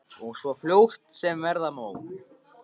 Og svo fljótt sem verða má.